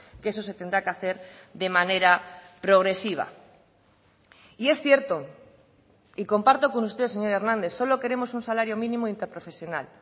que eso se tendrá que hacer de manera progresiva y es cierto y comparto con usted señor hernández solo queremos un salario mínimo interprofesional